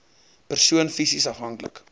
persoon fisies afhanklik